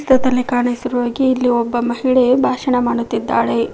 ಚಿತ್ರದಲ್ಲಿ ಕಾಣಿಸಿರುವ ಹಾಗೆ ಇಲ್ಲಿ ಒಬ್ಬ ಮಹಿಳೆ ಭಾಷಣ ಮಾಡುತ್ತಿದ್ದಾಳೆ.